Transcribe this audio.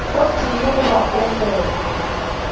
o tee goba wo mongwe